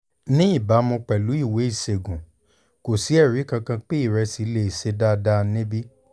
ní ìbámu pẹ̀lú ìwé ìṣègùn kò sí ẹ̀rí kankan pé ìrẹsì lè ṣe dáadáa níbí